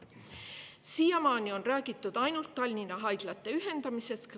Siiamaani on räägitud ainult Tallinna haiglate ühendamisest.